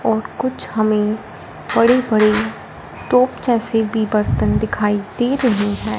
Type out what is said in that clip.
और कुछ हमें पड़ी पड़ी टोप जैसे भी बर्तन दिखाई दे रही हैं।